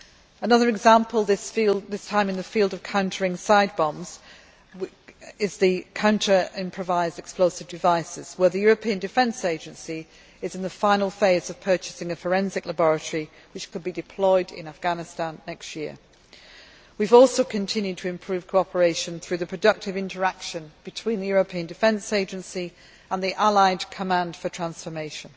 Another example, this time in the field of countering road side bombs, is the counter improvised explosive devices, where the European Defence Agency is in the final phase of purchasing a forensic laboratory which could be deployed in Afghanistan next year. We have also continued to improve cooperation through the productive interaction between the European Defence Agency and the allied command for transformation.